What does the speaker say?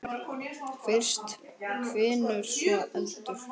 Fyrst hvinur, svo eldur.